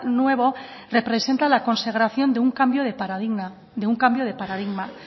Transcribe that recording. nuevo representa la consagración de un cambio de paradigma